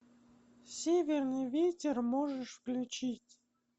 северный ветер можешь включить